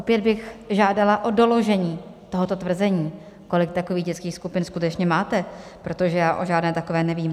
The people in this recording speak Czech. Opět bych žádala o doložení tohoto tvrzení, kolik takových dětských skupin skutečně máte, protože já o žádné takové nevím.